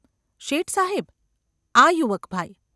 ‘શેઠસાહેબ ! આ યુવક ભાઈ.